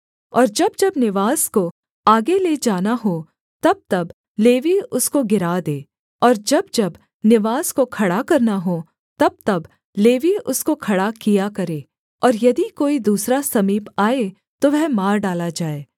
और जब जब निवास को आगे ले जाना हो तबतब लेवीय उसको गिरा दें और जब जब निवास को खड़ा करना हो तबतब लेवीय उसको खड़ा किया करें और यदि कोई दूसरा समीप आए तो वह मार डाला जाए